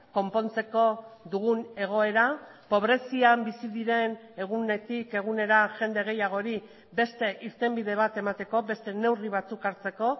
konpontzeko dugun egoera pobrezian bizi diren egunetik egunera jende gehiagori beste irtenbide bat emateko beste neurri batzuk hartzeko